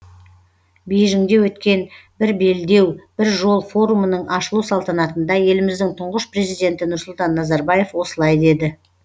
бейжіңде өткен бір белдеу бір жол форумының ашылу салтанатында еліміздің тұңғыш президенті нұрсұлтан назарбаев осылай деді